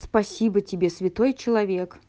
спасибо тебе святой человек